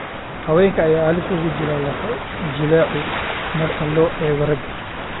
Haweenka ayaa halis ugu jira lafo-jileecu marka loo eego ragga.